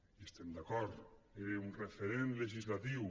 hi estem d’acord era un referent legislatiu